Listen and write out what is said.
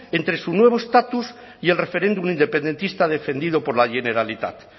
entre su nuevo estatus y el referéndum independentista defendido por la generalitat